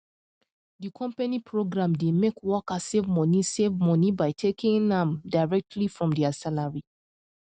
the company program dey make workers save money save money by taking am directly from dia salary